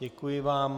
Děkuji vám.